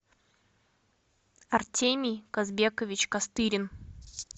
артемий казбекович костырин